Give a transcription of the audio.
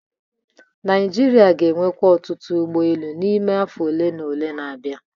Naijiria ga-enwekwa ọtụtụ ụgbọ elu n'ime afọ ole na ole na-abịa